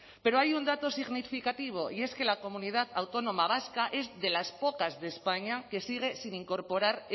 pero hay un dato significativo y es que la comunidad autónoma vasca es de las pocas de españa que sigue sin incorporar